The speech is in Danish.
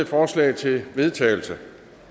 forslag til vedtagelse